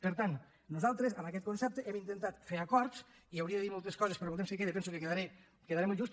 per tant nosaltres amb aquest concepte hem intentat fer acords i hauria de dir moltes coses però en el temps que queda penso que quedaré molt just